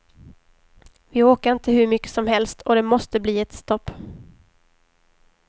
Vi orkar inte hur mycket som helst och det måste bli ett stopp.